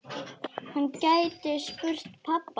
Hann gæti spurt pabba.